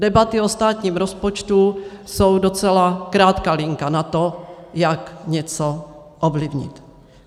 Debaty o státním rozpočtu jsou docela krátká linka na to, jak něco ovlivnit.